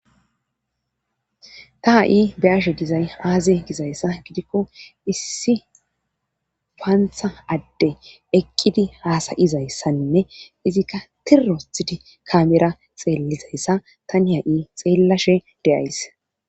ta ha'i be'ashe dizay aaze gizayssa gidikko issi paantha adde eqqidi haasa'izayssanne izikka tir othidi kamera xeellizayssa tani ha'i xeellashe de'ays